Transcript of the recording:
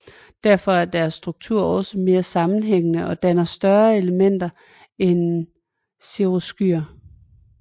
Derfor er deres struktur også mere sammenhængende og danner større elementer end cirrusskyer